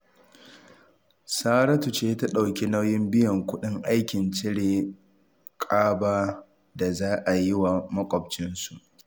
Saratu ce ta ɗauki nauyin biyan kuɗin aikin cire ƙaba da za a yi wa maƙwabcinsu